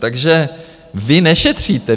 Takže vy nešetříte.